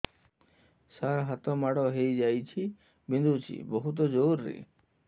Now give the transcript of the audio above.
ସାର ହାତ ମାଡ଼ ହେଇଯାଇଛି ବିନ୍ଧୁଛି ବହୁତ ଜୋରରେ